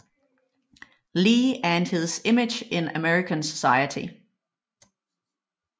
Lee and His Image in American Society